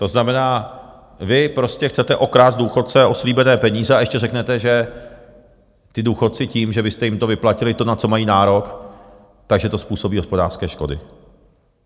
To znamená, vy prostě chcete okrást důchodce o slíbené peníze, a ještě řeknete, že ti důchodci tím, že byste jim to vyplatili, to, na co mají nárok, že to způsobí hospodářské škody.